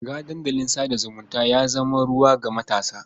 Shiga dandalin sa da zumunta ya zama ruwan ga matasa.